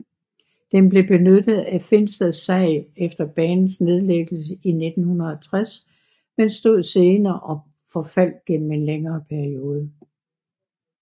Den blev benyttet af Finstad sag efter banens nedlæggelse i 1960 men stod senere og forfaldt gennem en længere periode